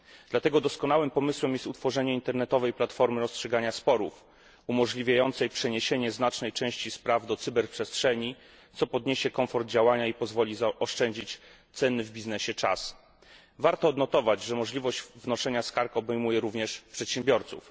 Dlatego doskonałym pomysłem jest utworzenie internetowej platformy rozstrzygania sporów, umożliwiającej przeniesienie znacznej części spraw do cyberprzestrzeni, co podniesie komfort działania i pozwoli zaoszczędzić cenny w biznesie czas. Warto odnotować, że możliwość wnoszenia skarg obejmuje również przedsiębiorców.